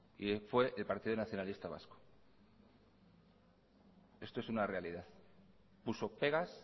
y fue el partido nacionalista vasco esto es una realidad puso pegas